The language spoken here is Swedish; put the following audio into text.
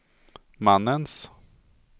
mannens